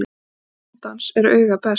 Húsbóndans er auga best .